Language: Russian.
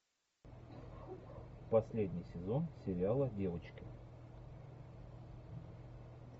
последний сезон сериала девочки